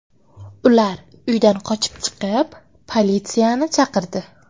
Ular uydan qochib chiqib, politsiyani chaqirdi.